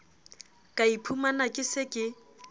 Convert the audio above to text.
ka iphumana ke se ke